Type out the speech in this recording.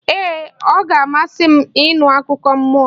Ee, ọ ga-amasị m ịnụ akụkọ mmụọ.